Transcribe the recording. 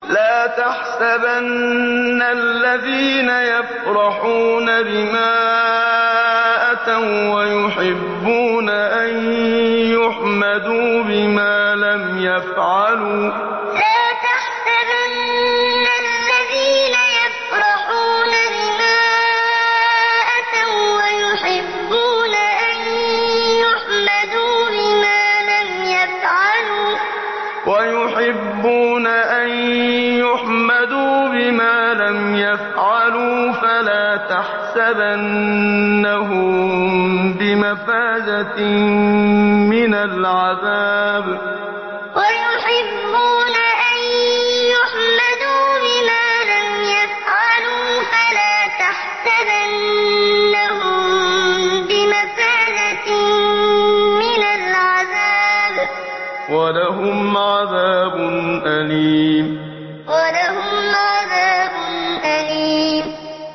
لَا تَحْسَبَنَّ الَّذِينَ يَفْرَحُونَ بِمَا أَتَوا وَّيُحِبُّونَ أَن يُحْمَدُوا بِمَا لَمْ يَفْعَلُوا فَلَا تَحْسَبَنَّهُم بِمَفَازَةٍ مِّنَ الْعَذَابِ ۖ وَلَهُمْ عَذَابٌ أَلِيمٌ لَا تَحْسَبَنَّ الَّذِينَ يَفْرَحُونَ بِمَا أَتَوا وَّيُحِبُّونَ أَن يُحْمَدُوا بِمَا لَمْ يَفْعَلُوا فَلَا تَحْسَبَنَّهُم بِمَفَازَةٍ مِّنَ الْعَذَابِ ۖ وَلَهُمْ عَذَابٌ أَلِيمٌ